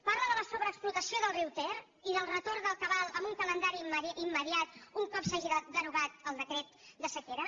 parla de la sobreexplotació del riu ter i del retorn del cabal amb un calendari immediat un cop s’hagi derogat el decret de sequera